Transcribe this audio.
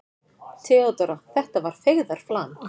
THEODÓRA: Þetta var feigðarflan.